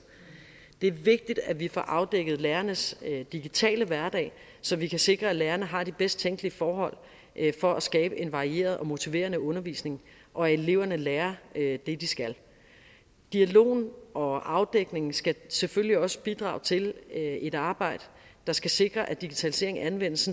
det er vigtigt at vi får afdækket lærernes digitale hverdag så vi kan sikre at lærerne har de bedst tænkelige forhold for at skabe en varieret og motiverende undervisning og at eleverne lærer det de skal dialogen og afdækningen skal selvfølgelig også bidrage til et arbejde der skal sikre at digitaliseringen anvendes